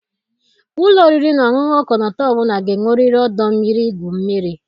Ụlọ oriri na ọṅụṅụ ọkọlọtọ ọ bụla ga-enwerịrị ọdọ mmiri igwu mmiri.